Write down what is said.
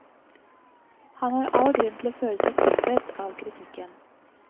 Han har all grunn til å føle seg truffet av kritikken.